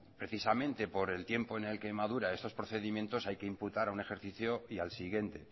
precisamente por el tiempo en el que madura estos procedimientos hay que imputar a un ejercicio y al siguiente